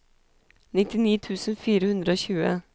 nittini tusen fire hundre og tjue